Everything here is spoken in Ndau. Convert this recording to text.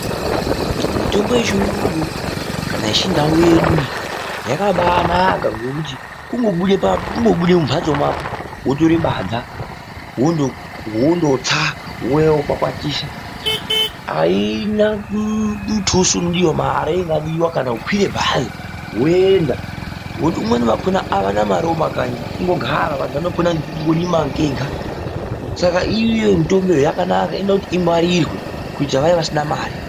Mitombo yechirungu kana yechindau yedu iyi yakabaanaka ngokuti kungobuda mumhatso mako wotore badza wondotsa ,wouya wokwakwatisa .Aina muthuso unodiwa kana mari inodiwa kukwira bhazi woenda ngokuti vamweni vakhona avana mari mumakanyi kungogara vantu vanopona ngekurima kwega saka iyo mitombo yakanaka, inoda kuti ingwarirwe kuitira vaya vasina mare.